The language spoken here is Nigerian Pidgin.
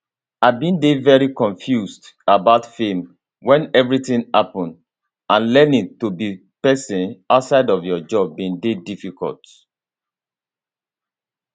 i bin dey very confused about fame when everything happen and learning to be person outside of your job bin dey difficult